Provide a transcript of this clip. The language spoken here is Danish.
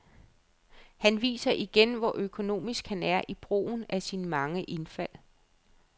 Han viser igen, hvor økonomisk han er i brugen af sine mange indfald.